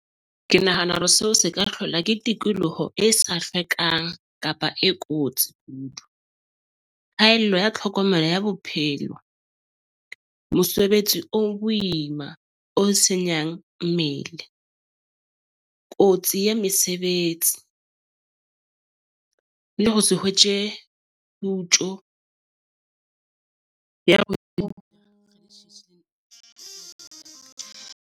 Ke nahana hore seo se ka hlola ke tikoloho e sa hlwekang kapa e kotsi kudu. Phaello ya tlhokomelo ya bophelo, mosebetsi o boima, o senyang mmele. Kotsi ya mesebetsi le ho se hwetje kgutjo ya .